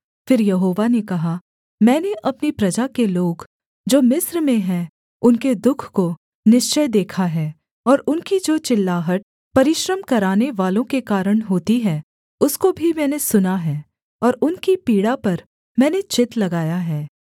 फिर यहोवा ने कहा मैंने अपनी प्रजा के लोग जो मिस्र में हैं उनके दुःख को निश्चय देखा है और उनकी जो चिल्लाहट परिश्रम करानेवालों के कारण होती है उसको भी मैंने सुना है और उनकी पीड़ा पर मैंने चित्त लगाया है